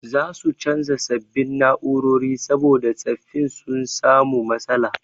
Za su canza sabbin na'urori saboda tsaffin sun samu matsala.